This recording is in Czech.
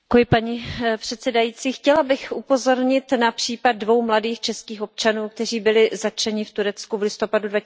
Paní předsedající, chtěla bych upozornit na případ dvou mladých českých občanů, kteří byli zatčeni v Turecku v listopadu